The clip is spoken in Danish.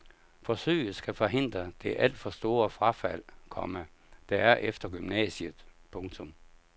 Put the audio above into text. Forsøget skal forhindre det alt for store frafald, komma der er efter gymnasiet. punktum